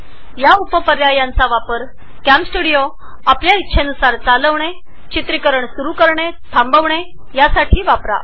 हे पर्याय तुम्ही कॅमस्टुडिओमध्ये चालू व बंद करण्यासाठी हवे तसे वापरु शकता